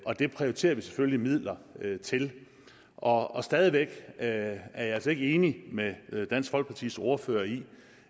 det prioriterer vi selvfølgelig midler til og stadig væk er jeg altså ikke enig med dansk folkepartis ordfører i